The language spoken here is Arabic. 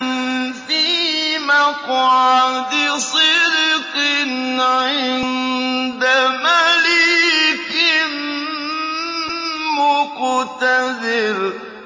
فِي مَقْعَدِ صِدْقٍ عِندَ مَلِيكٍ مُّقْتَدِرٍ